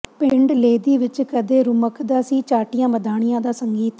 ਪਿੰਡ ਲੇਦੀ ਵਿੱਚ ਕਦੇ ਰੁਮਕਦਾ ਸੀ ਚਾਟੀਆਂ ਮਧਾਣੀਆਂ ਦਾ ਸੰਗੀਤ